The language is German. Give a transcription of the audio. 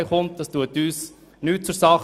Dies tut aus unserer Sicht nichts zur Sache.